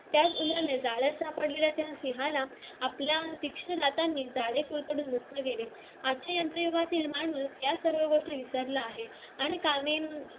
त्या उंदराने जाळ्यात सापडलेल्या त्या सिंहाला आजच्या यंत्र युगातील माणूस या सगळ्या गोष्टी विसरला आहे आणि